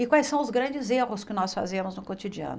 E quais são os grandes erros que nós fazemos no cotidiano.